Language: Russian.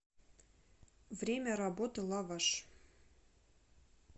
время работы лаваш